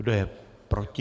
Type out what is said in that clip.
Kdo je proti?